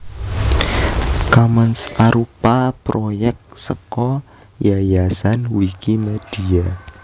Commons arupa proyèk saka Yayasan Wikimedia